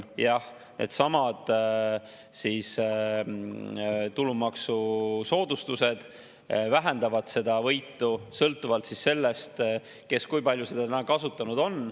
Jah, nendesamade tulumaksusoodustuste vähendab seda võitu, sõltuvalt sellest, kui palju neid kasutatud on.